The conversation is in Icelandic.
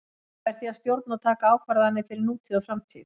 Ég verð því að stjórna og taka ákvarðanir fyrir nútíð og framtíð.